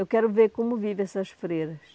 Eu quero ver como vivem essas freiras.